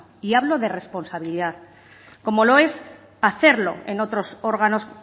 y hablo de responsabilidad como lo es hacerlo en otros órganos